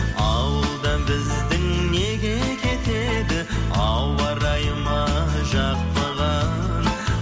ауылдан біздің неге кетеді ауа райы ма жақпаған